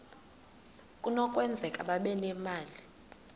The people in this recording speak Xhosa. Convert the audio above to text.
kunokwenzeka babe nemali